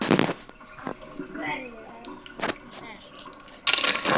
Af hverju er það gert?